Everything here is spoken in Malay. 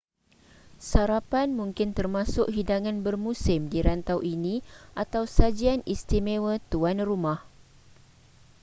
sarapan mungkin termasuk hidangan bermusim di rantau ini atau sajian istimewa tuan rumah